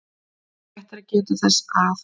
Rétt er að geta þess að